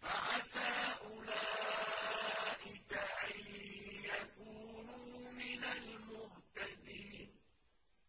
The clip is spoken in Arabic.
فَعَسَىٰ أُولَٰئِكَ أَن يَكُونُوا مِنَ الْمُهْتَدِينَ